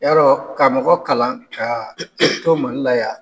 Yarɔ, ka mɔgɔ kalan ka i to Mali la yan.